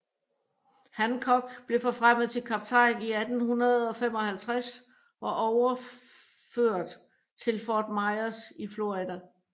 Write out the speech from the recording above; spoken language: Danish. Hancock blev forfremmet til kaptajn i 1855 og overførst til Fort Myers i Florida